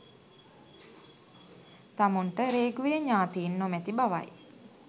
තමන්ට රේගුවේ ඥාතීන් නොමැති බවයි